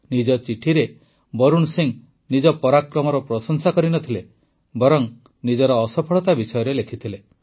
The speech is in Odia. ନିଜ ଚିଠିରେ ବରୁଣ ସିଂ ନିଜ ପରାକ୍ରମର ପ୍ରଶଂସା କରି ନ ଥିଲେ ବରଂ ନିଜର ଅସଫଳତା ବିଷୟରେ ଲେଖିଥିଲେ